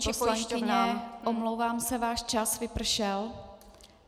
Paní poslankyně, omlouvám se, váš čas vypršel.